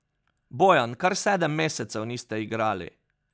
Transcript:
Bojan, kar sedem mesecev niste igrali.